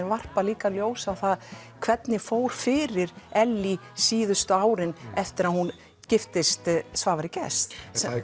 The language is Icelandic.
varpa líka ljósi á það hvernig fór fyrir Ellý síðustu árin eftir að hún giftist Svavari Gests